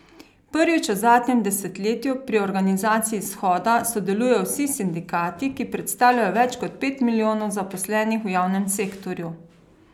Prvič v zadnjem desetletju pri organizaciji shoda sodelujejo vsi sindikati, ki predstavljajo več kot pet milijonov zaposlenih v javnem sektorju.